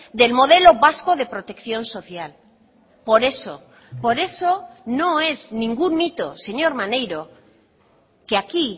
del modelo vasco de protección social por eso por eso no es ningún mito señor maneiro que aquí